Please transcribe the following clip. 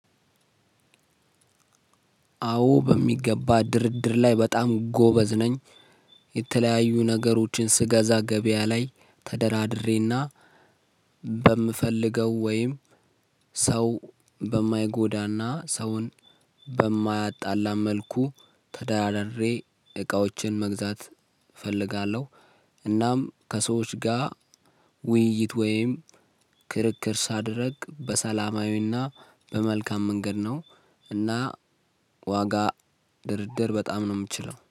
አዎ በሚገባ ድርድር ላይ በጣም ጎበዝ ነኝ። የተለያዩ ነገሮችን ስገዛ ገበያ ላይ ተደራድሬና በምፈልገው ወይም ሰው በማይጎዳና ሰውን በማያጣላ መልኩ ተደራድሬ እቃዎችን መግዛት እፈልጋለሁ። እናም ከሰዎች ጋር ውይይት ወይም ክርክር ሳደርግ በሰላማዊና በመልካም መንገድ ነው። እና ዋጋ ድርድር በጣም ነው የምችለው